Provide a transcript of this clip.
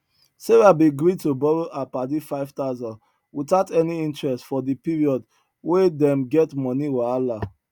sarah bin gree to borrow her padi 5000 without any interest for di period wen dem get money wahala